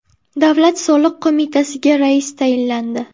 Davlat soliq qo‘mitasiga rais tayinlandi.